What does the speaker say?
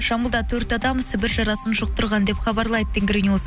жамбылда төрт адам сібір жарасын жұқтырған деп хабарлайды тенгриньюс